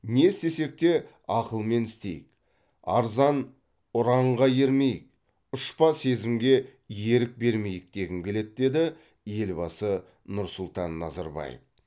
не істесек те ақылмен істейік арзан ұранға ермейік ұшпа сезімге ерік бермейік дегім келеді деді елбасы нұрсұлтан назарбаев